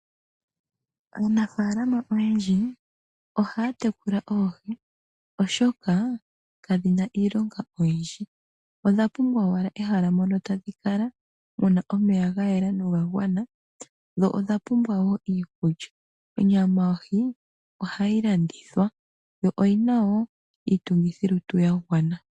Aanafaalama oyendji ohaya tekula oohi oshoka kadhina iilonga oyindji, odha pumbwa owala ehala mono tadhi kala muna omeya ga yela noga gwana. Dho odha pumbwa wo iikulya. Onyama yohi ohayi landithwa yo oyina wo iitungithilutu ya gwana.